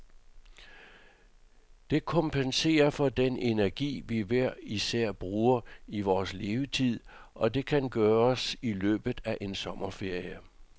Det kompenserer for den energi, vi hver især bruger i vores levetid, og det kan gøres i løbet af en sommerferie.